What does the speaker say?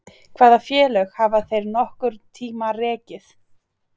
Hvaða félög hafa þeir nokkurn tíma rekið?